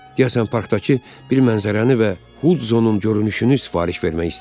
Deyəsən parkdakı bir mənzərəni və Hudzonun görünüşünü sifariş vermək istəyir.